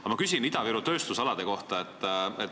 Aga ma küsin Ida-Viru tööstusalade kohta.